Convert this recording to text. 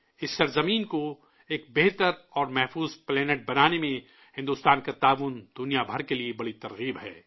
اس سرزمین کو ایک بہتر اور محفوظ سیارہ بنانے میں بھارت کا تعاون، دنیا بھر کے لیے بہت بڑا حوصلہ ہے